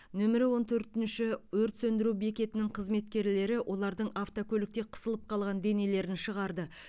нөмірі он төртінші өрт сөндіру бекетінің қызметкерлері олардың автокөлікте қысылып қалған денелерін шығарды